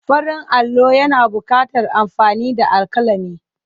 Farin allo yana buƙatar amfani da alƙalami.